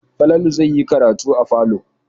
Falalu zai yi karatu a falo.